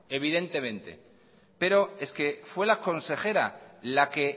evidentemente pero es que fue la consejera la que